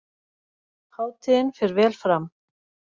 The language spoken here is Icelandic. Hátíðin fer vel fram